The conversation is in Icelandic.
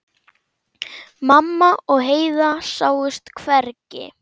Mamma og Heiða sáust hvergi.